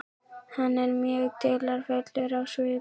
Hann er mjög dularfullur á svip.